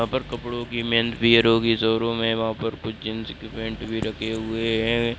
यहा पर कपड़ों की मेंथ भी है रॉकी शोरूम है वहां पर कुछ जींस पेंट भी रखे हुए हैं।